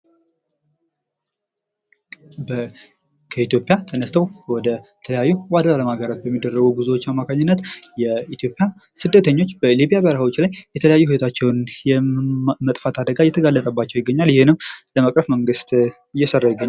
ከኢትዮጵያ ተነስተው ወደ ተለያዩ ወደ የአለም ሀገሮች በሚደረጉ ጉዞዎች አማካኝነት የኢትዮጵያ ስደተኞች በሊብያ በረሐዎች ላይ የተለያዩ ህይወታቸውን የመጥፋት አደጋ እየተጋለጠባቸው ይገኛል ። ይህንንም ለመቅረፍ መንግስት እየሰራ ይገኛል ።